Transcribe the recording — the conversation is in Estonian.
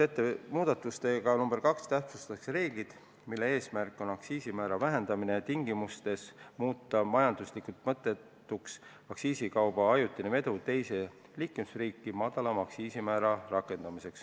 Muudatusega nr 2 täpsustatakse reeglit, mille eesmärk on aktsiisimäära vähendamise tingimustes muuta majanduslikult mõttetuks aktsiisikauba ajutine vedu teise liikmesriiki, et rakendada madalamat aktsiisimäära.